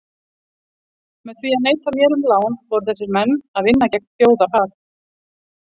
Með því að neita mér um lán voru þessir menn að vinna gegn þjóðarhag.